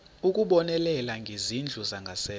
ukubonelela ngezindlu zangasese